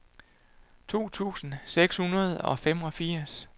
to tusind seks hundrede og femogfirs